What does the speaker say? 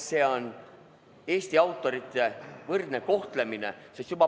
Tegu on Eesti autorite võrdse kohtlemisega.